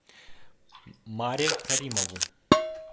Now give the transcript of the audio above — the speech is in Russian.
маре каримову